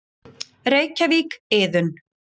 Reykjavík, Iðunn.